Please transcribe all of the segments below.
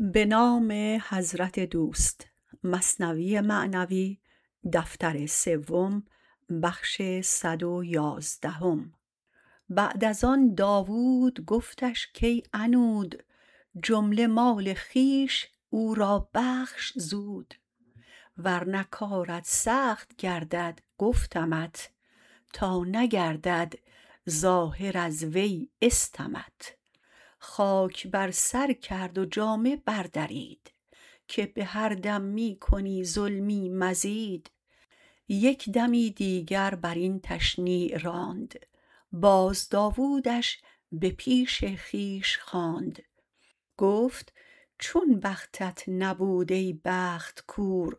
بعد از آن داود گفتش کای عنود جمله مال خویش او را بخش زود ورنه کارت سخت گردد گفتمت تا نگردد ظاهر از وی استمت خاک بر سر کرد و جامه بر درید که به هر دم می کنی ظلمی مزید یک دمی دیگر برین تشنیع راند باز داودش به پیش خویش خواند گفت چون بختت نبود ای بخت کور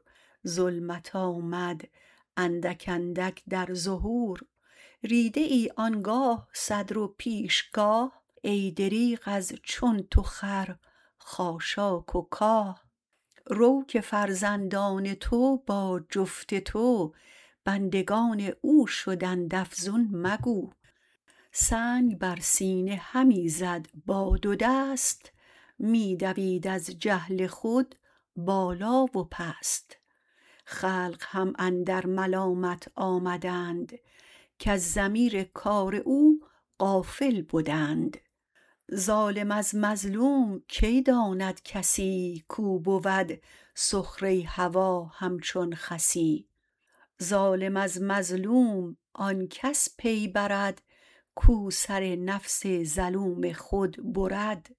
ظلمت آمد اندک اندک در ظهور ریده ای آنگاه صدر و پیشگاه ای دریغ از چون تو خر خاشاک و کاه رو که فرزندان تو با جفت تو بندگان او شدند افزون مگو سنگ بر سینه همی زد با دو دست می دوید از جهل خود بالا و پست خلق هم اندر ملامت آمدند کز ضمیر کار او غافل بدند ظالم از مظلوم کی داند کسی کو بود سخره هوا همچون خسی ظالم از مظلوم آنکس پی برد کو سر نفس ظلوم خود برد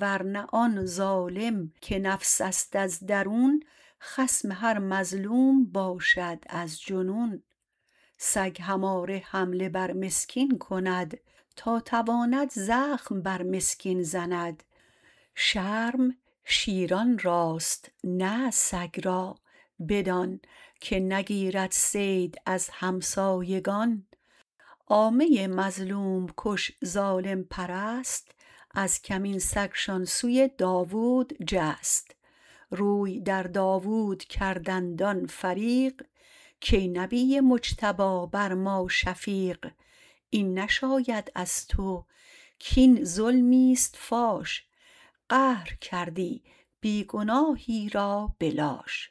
ورنه آن ظالم که نفس است از درون خصم هر مظلوم باشد از جنون سگ هماره حمله بر مسکین کند تا تواند زخم بر مسکین زند شرم شیران راست نه سگ را بدان که نگیرد صید از همسایگان عامه مظلوم کش ظالم پرست از کمین سگشان سوی داود جست روی در داود کردند آن فریق کای نبی مجتبی بر ما شفیق این نشاید از تو کین ظلمیست فاش قهر کردی بی گناهی را به لاش